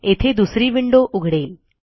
येथे दुसरी विंडो उघडेल